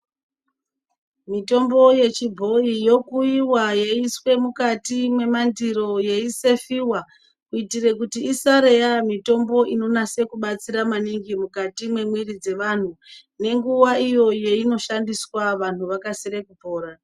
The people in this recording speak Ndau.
Mitombo yechibhoyi yokuiwa yeiiswe mukati mwemandiro yeisefiwa kuitire kuti isare yamitonbo inonase kubatsira maningi mukati mwemwiri dzevanhu, nenguva iyo inoshandiswa kuti vantu vakasire kupora.